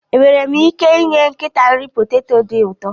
Enwere m ike inye nkịta nri poteto dị ụtọ